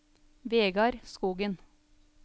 Vegard Skogen